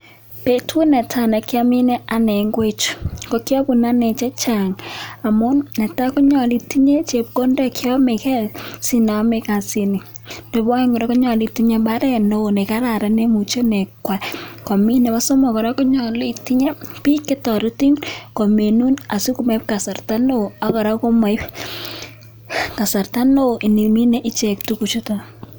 Betut netai nekiamine ane ngwek chu ko kiobun ane chechang' amun netai konyolu itinye chepkondok cheomege sinam kasit ni, nebo oeng' konyolu itinye mbaret neo nekararan neimuch imin, nebo somok konyolu itinye biik chetoretin kominun asimoib kasarta neo akoraa komoib kasarta ndimine tuguk chuton.